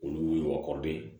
Olu y'u kɔrɔde ye